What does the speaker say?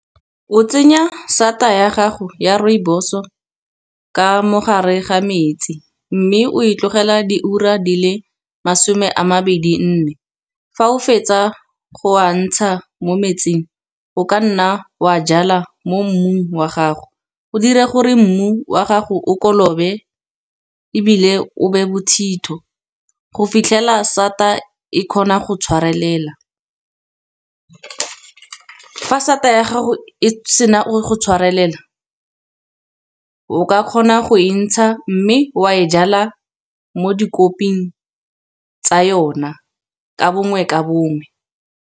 O tsenya sata ya gago ya rooibos-o ka mogare ga metsi, mme o e tlogela diura di le masome a mabedi nne. Fa o fetsa go wa ntsha mo metsing, o ka nna wa jala mo mmung wa gago. O dira gore mmu wa gago o kolobe, ebile o be bothitho, go fitlhela sata e kgona go tshwarelela. Fa sata ya gago e sena go tshwarelela, o ka kgona go entsha mme wa e jala mo dikoping tsa yona ka bongwe ka bongwe.